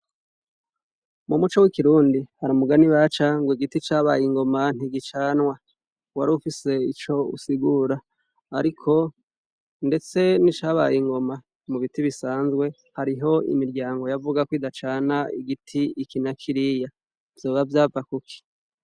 Mu muco w'ikirundi hari umugani baca ngo igiti cabaye ingoma ntigicanwa wari ufise ico usigura ariko ndetse n'icabaye ingoma mu biti bisanzwe hariho imiryango yavuga ko idacana igiti iki na kiriya vyoba yava kuki?